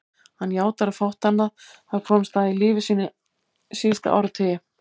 Hann játar að fátt annað hafi komist að í lífi sínu síðustu áratugi.